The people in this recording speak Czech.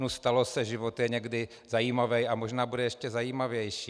Nu, stalo se, život je někdy zajímavý a možná bude ještě zajímavější.